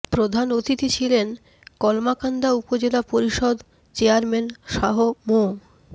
প্রধান অতিথি ছিলেন কলমাকান্দা উপজেলা পরিষদ চেয়ারম্যান শাহ্ মো